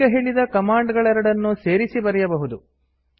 ಈಗ ಹೇಳಿದ ಕಮಾಂಡ್ ಗಳೆರಡನ್ನೂ ಸೇರಿಸಿ ಬರೆಯಬಹುದು